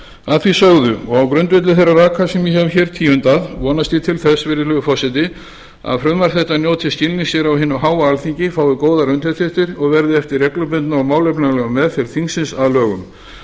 að því sögðu og á grundvelli þeirra raka sem ég hef tíundað vonast ég til þess virðulegur forseti að frumvarp þetta njóti skilnings á hinu háa alþingi fái góðar undirtektir og verði eftir reglubundna og málefnalega meðferð þingsins að lögum